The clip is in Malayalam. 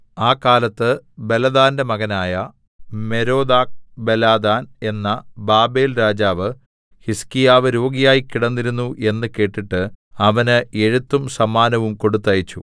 ആ കാലത്ത് ബലദാന്റെ മകനായ മെരോദാക്ബലദാൻ എന്ന ബാബേൽരാജാവ് ഹിസ്കീയാവ് രോഗിയായി കിടന്നിരുന്നു എന്ന് കേട്ടിട്ട് അവന് എഴുത്തും സമ്മാനവും കൊടുത്തയച്ചു